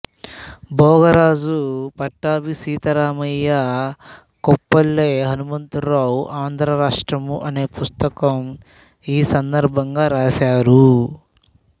భోగరాజు పట్టాభి సీతారామయ్య కొప్పల్లె హనుమంతరావు ఆంధ్ర రాష్ట్రము అనే పుస్తకం ఈ సందర్భంగా రాసారు